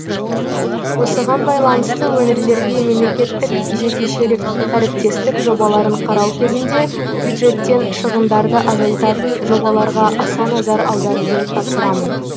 осыған байланысты өңірлерге мемлекеттік жекешелік әріптестік жобаларын қарау кезінде бюджеттен шығындарды азайтатын жобаларға аса назар аударуды тапсырамын